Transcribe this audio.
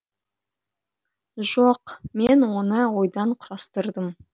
жоқ мен оны ойдан құрастырдым